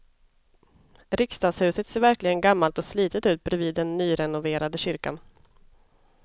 Riksdagshuset ser verkligen gammalt och slitet ut bredvid den nyrenoverade kyrkan.